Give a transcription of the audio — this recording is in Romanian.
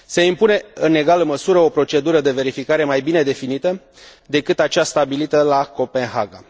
Se impune, în egală măsură, o procedură de verificare mai bine definită decât acea stabilită la Copenhaga.